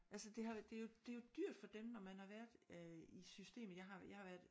Altså det har det er jo det er jo dyrt for dem når man har været øh i systemet jeg har jeg har været